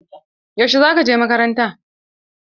Yaushe za ka je makaranta?